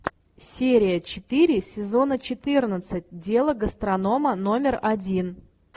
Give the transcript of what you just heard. серия четыре сезона четырнадцать дело гастронома номер один